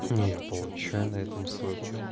я получаю на этом свою